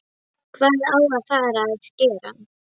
Hvað á að fara að skera?